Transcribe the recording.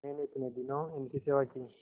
मैंने इतने दिनों इनकी सेवा की